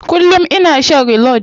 Kullum ina shan reload.